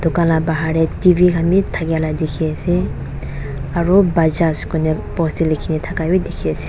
dukan la bahar tae T_V khan be thakila dikhiase aru bajaj koina post tae likhina thaka bi dikhiase.